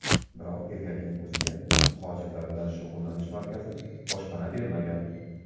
Biroq erkakning o‘ziga muhojirlar bilan shug‘ullanish markazi boshpana bermagan.